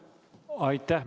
Aitäh!